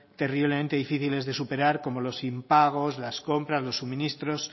terriblemente difíciles de superar como los impagos las compras los suministros